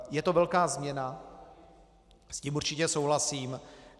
Je to velká změna, s tím určitě souhlasím.